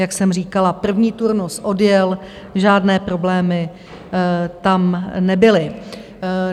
Jak jsem říkala, první turnus odjel, žádné problémy tam nebyly.